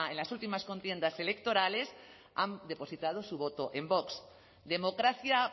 las últimas contiendas electorales han depositado su voto en vox democracia